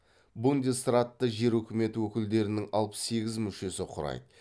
бундесратты жер үкіметі өкілдерінің алпыс сегіз мүшесі құрайды